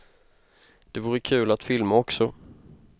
Det vore kul att filma också.